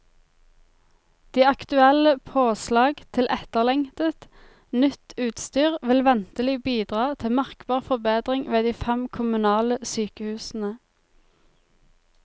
De aktuelle påslag til etterlengtet, nytt utstyr vil ventelig bidra til merkbar forbedring ved de fem kommunale sykehusene.